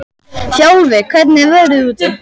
Þjálfi, hvernig er veðrið úti?